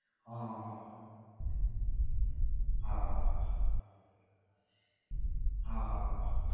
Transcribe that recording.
હા હા હા હા હા હા હા હા હા